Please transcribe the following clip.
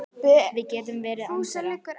Við getum verið án þeirra.